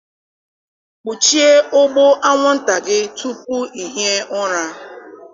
Kpuchie ụgbụ anwụnta gị tupu ị hie ụra.